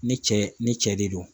Ni cɛ ni cɛ de don